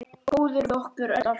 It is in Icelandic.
Góður við okkur öll, alltaf.